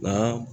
Nka